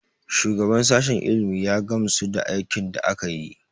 Shugaban sashen ilimi ya gamsu da aikin da aka yi.